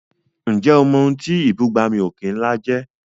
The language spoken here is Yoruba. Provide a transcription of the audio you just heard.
Ǹjẹ́ o mọ̀ ohun tí ìbúgbàmù òkè ńlá jẹ́?